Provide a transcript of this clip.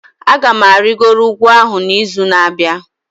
Aga m arịgoro ugwu ahụ n'izu na-abịa